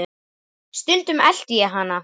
Stundum elti ég hana.